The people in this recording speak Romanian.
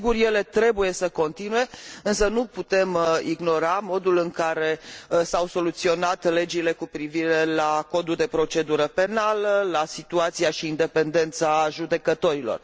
Sigur, ele trebuie să continue, însă nu putem ignora modul în care s au soluționat legile cu privire la Codul de procedură penală, la situația și independența judecătorilor.